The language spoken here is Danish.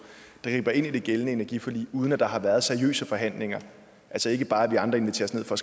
der griber ind i det gældende energiforlig uden at der har været seriøse forhandlinger altså ikke bare at vi andre inviteres ned for